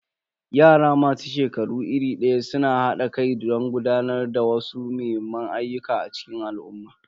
Yara masu shekaru iri daya suna hada kai don gudanar da wasu muhimman ayyuka a cikin al'umma.